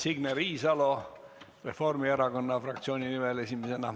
Signe Riisalo Reformierakonna fraktsiooni nimel esimesena.